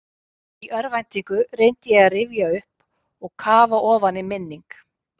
Í örvæntingu reyndi ég að rifja upp og kafa ofan í minning